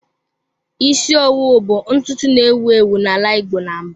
Isi owu bụ ntutu na-ewu ewu n'ala igbo na mbụ